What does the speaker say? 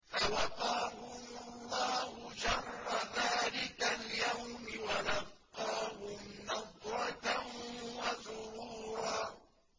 فَوَقَاهُمُ اللَّهُ شَرَّ ذَٰلِكَ الْيَوْمِ وَلَقَّاهُمْ نَضْرَةً وَسُرُورًا